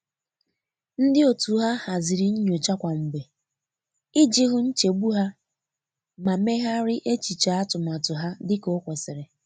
Ndi otu ha haziri nnyocha kwa mgbe iji hu nchegbu ha ma meghari echiche atụmatụ ha dika o kwesịrị